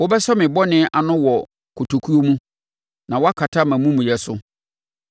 Wɔbɛsɔ me bɔne ano wɔ kotokuo mu, na woakata mʼamumuyɛ so.